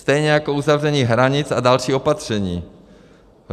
Stejně jako uzavření hranic a další opatření.